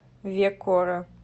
векора